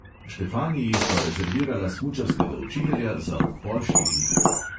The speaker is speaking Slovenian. Štefaniji sva rezervirala smučarskega učitelja za ob pol štirih.